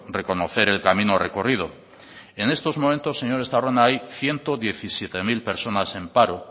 reconocer el camino recorrido en estos momentos señor estarrona hay ciento diecisiete mil personas en paro